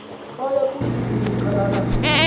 waya kuzithi ncuchalala